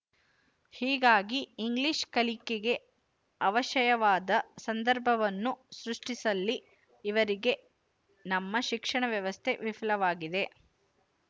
ಹೀಗಾಗಿ ಇಂಗ್ಲಿಶ ಕಲಿಕೆಗೆ ಅವಶಯವಾದ ಸಂದರ್ಭವನ್ನು ಸೃಷ್ಟಿಸುವಲ್ಲಿ ಈವರೆಗೆ ನಮ್ಮ ಶಿಕ್ಷಣ ವ್ಯವಸ್ಥೆ ವಿಫಲವಾಗಿದೆ